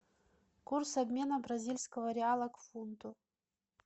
курс обмена бразильского реала к фунту